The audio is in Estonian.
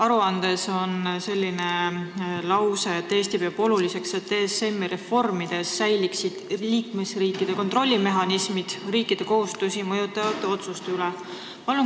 Aruandes on lause, et Eesti peab oluliseks, et ESM-i reformide puhul saaksid liikmesriigid kontrollida riikide kohustusi mõjutavaid otsuseid.